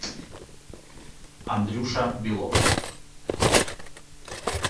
андрюша белов